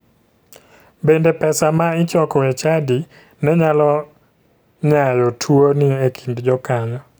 Bende pesa ma ichoko e chadi ne nyalo nyayo tuoni ekind jokanyo.